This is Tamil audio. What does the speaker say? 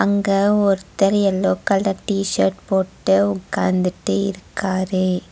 இங்க ஒருத்தர் எல்லோ கலர் டி_ஷர்ட் போட்டு உக்காந்துட்டு இருக்காரு.